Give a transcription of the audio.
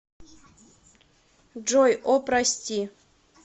джой о прости